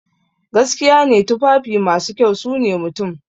Gaskiya ne, tufafi masu kyau sune mutum.